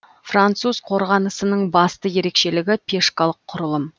француз қорғанысының басты ерекшелігі пешкалық құрылым